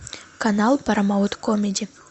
канал парамаунт комеди